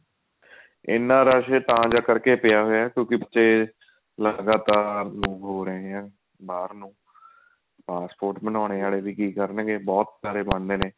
ਇੰਨਾ ਰਸ਼ ਤਾਂ ਕਰਕੇ ਪਿਆ ਹੋਇਆ ਕਿਉਂਕੇ ਵਿੱਚ ਲਗਾਤਾਰ move ਹੋ ਰਹੇ ਹਾਂ ਬਾਹਰ ਨੂੰ passport ਬਣਾਉਣ ਵਾਲੇ ਵੀ ਕੀ ਕਰਨਗੇ ਬਹੁਤ ਸਾਰੇ ਬਣਦੇ ਨੇ